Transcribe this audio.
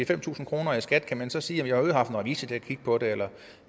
fem tusind kroner i skat kan man så sige at har haft en revisor til at kigge på det eller